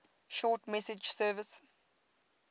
short message service